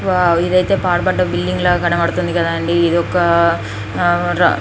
wow ఇదైతే పాడిపడ్డ building లాగా కనబడుతుంది కదండీ ఇది ఒక ఆ --